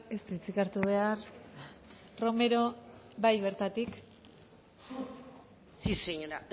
ez du hitzik hartu behar romero bai bertatik sí señora